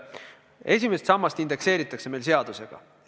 Esimest sammast indekseeritakse meil seadusega.